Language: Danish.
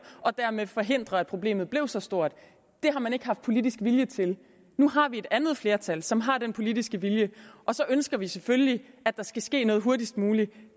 og dermed forhindre at problemet blev så stort det har man ikke haft politisk vilje til nu har vi et andet flertal som har den politiske vilje og så ønsker vi selvfølgelig at der skal ske noget hurtigst muligt